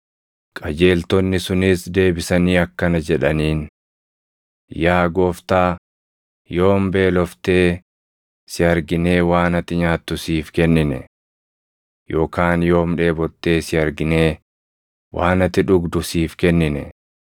“Qajeeltonni sunis deebisanii akkana jedhaniin; ‘Yaa Gooftaa, yoom beeloftee si arginee waan ati nyaattu siif kennine? Yookaan yoom dheebottee si arginee waan ati dhugdu siif kennine?